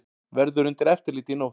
Verður undir eftirliti í nótt